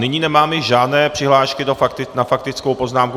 Nyní nemáme žádné přihlášky na faktickou poznámku.